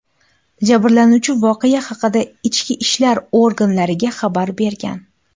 Jabrlanuvchi voqea haqida ichki ishlar organlariga xabar bergan.